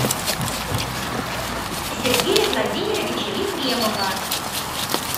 сергея владимировича ефремова